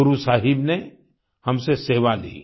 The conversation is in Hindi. गुरु साहिब ने हमसे सेवा ली